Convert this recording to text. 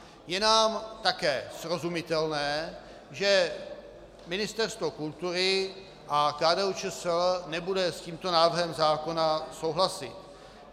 Je nám také srozumitelné, že Ministerstvo kultury a KDU-ČSL nebude s tímto návrhem zákona souhlasit.